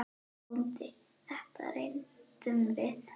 BÓNDI: Þetta reyndum við!